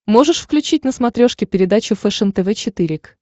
можешь включить на смотрешке передачу фэшен тв четыре к